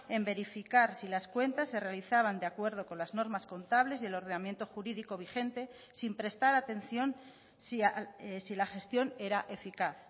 en verificar si las cuentas se realizaban de acuerdo con las normas contables y el ordenamiento jurídico vigente sin prestar atención si la gestión era eficaz